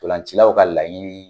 Ntolancilaw ka laɲini